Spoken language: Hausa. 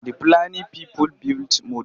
The Fulani people built mud.